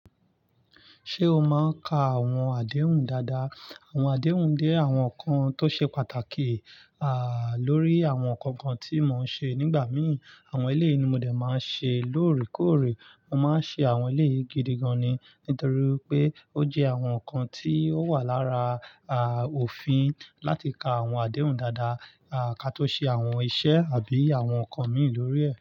Ṣé o máa ń ka àwọn àdéhùn dáadáa? Àwọn àdéhùn jẹ́ àwọn nǹkan tó ṣe pàtàkì, à, lórí àwọn ǹkan kan tí mo ń ṣe nígbà mìí. Àwọn eléyìí ni mo dẹ̀ máa ń ṣe lóòrèkóòrè. Mo máa ń ṣe àwọn ilé yìí gidi gan-an ni, nítorí pé ó jẹ́ àwọn ǹkan tí ó wà lára, à, òfin láti ka àwọn àdéhùn dáadáa, à, ká tó ṣe àwọn iṣẹ́ àbí àwọn ǹkan mii lórí ẹ̀